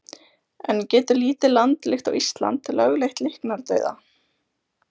En getur lítið land líkt og Ísland lögleitt líknardauða?